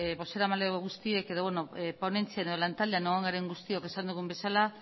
bozeramale guztiek edo ponentzian edo lantaldeak egon garen guztiok esan dugun bezala